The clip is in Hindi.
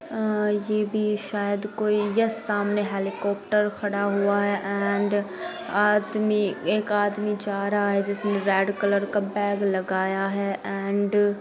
अ यह भी शायद कोई यस सामने हेलिकोप्टेर खड़ा हुआ है एंड आदमी एक आदमी जा रहा है जिसने रेड कलर का बेग लगाया है एंड --